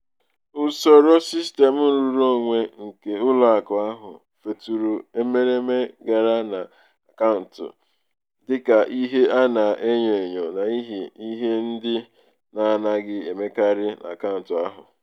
ọtụtụ ndị ọkachamara n'akaọrụ ha na-etinye ntụnye oke ha n'uju n'ihu mgbe ha ka na-ebido ebido.